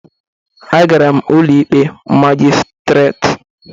Agara m Ụlọikpe Magịstretị